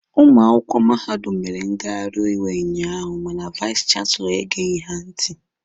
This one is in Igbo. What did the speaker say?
Ụmụ akwụkwọ mahadum mere ngaghari iwe unyaahụ mana vais chanselọ egeghi ha ntị.